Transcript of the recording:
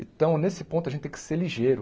Então, nesse ponto, a gente tem que ser ligeiro.